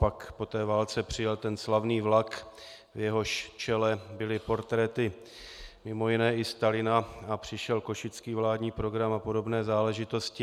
Pak po té válce přijel ten slavný vlak, v jehož čele byly portréty mimo jiné i Stalina, a přišel Košický vládní program a podobné záležitosti.